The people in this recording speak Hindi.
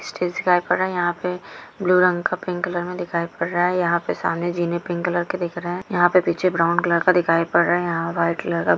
स्टेज यहा पे ब्लू रंग का पिंक मे दिखाई पड रहा है यहा पे सामने जीने पिंक कलर की दिख रहे है यहा पे पीछे ब्राउन कलर का दिखाई पड रहा है यहा व्हाइट कलर का--